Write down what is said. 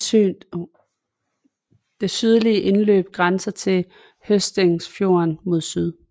Det sydlige indløb grænser til Håsteinsfjorden mod syd